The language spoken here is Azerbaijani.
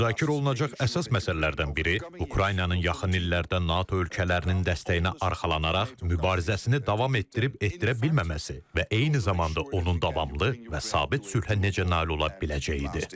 Müzakirə olunacaq əsas məsələlərdən biri Ukraynanın yaxın illərdə NATO ölkələrinin dəstəyinə arxalanaraq mübarizəsini davam etdirib-etdirə bilməməsi və eyni zamanda onun davamlı və sabit sülhə necə nail ola biləcəyidir.